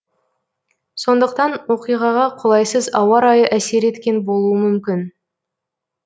сондықтан оқиғаға қолайсыз ауа райы әсер еткен болуы мүмкін